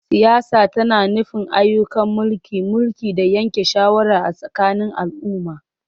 Siyasa tana nufin ayyukan mulki, mulki, da yanke shawara a tsakanin al'umma.